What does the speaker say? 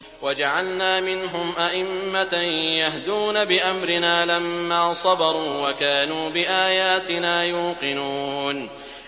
وَجَعَلْنَا مِنْهُمْ أَئِمَّةً يَهْدُونَ بِأَمْرِنَا لَمَّا صَبَرُوا ۖ وَكَانُوا بِآيَاتِنَا يُوقِنُونَ